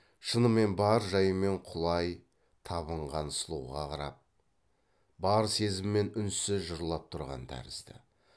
шынымен бар жайымен құлай табынған сұлуға қарап бар сезіммен үнсіз жырлап тұрған тәрізді